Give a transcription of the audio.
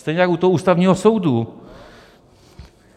Stejně jako u toho Ústavního soudu.